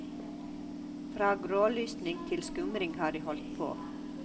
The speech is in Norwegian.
Fra grålysning til skumring har de holdt på.